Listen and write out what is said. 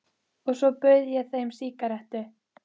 Og svo bauð ég þeim sígarettu.